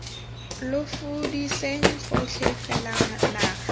lo fudiseng gotlhe fela naga